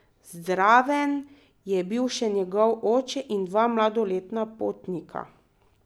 Zraven je bil še njegov oče in dva mladoletna potnika.